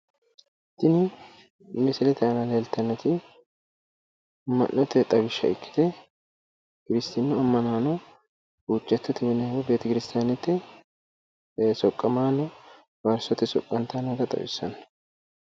Tini misilete aana leeltannoti amma'nite xawishsha ikkite, kirstinnu ammanaano huuccattote mine woyi beetikirstaanete soqqamaano faarsote soqqantanni noota xawissanno.